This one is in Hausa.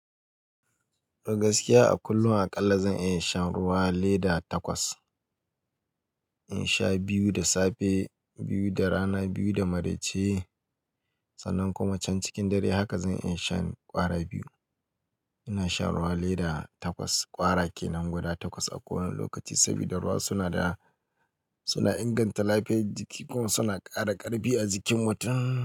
Gaskiya a kullum aƙalla zan iya shan ruwa leda takwas. In sha biyu da safe, biyu da rana, biyu da maraice sannan kuma can cikin dare haka zan iya shan ƙwara biyu. Ina shan ruwa lida takwas, ƙwara kenan guda takwas a kowane lokaci saboda ruwa suna inganta lafiyar jiki kuma suna ƙara ƙarfi a jikin mutum.